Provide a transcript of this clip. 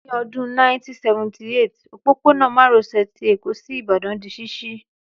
Ní Ọdún 1978, òpópónà márosè ti Èkó sí Ìbàdàn di ṣíṣí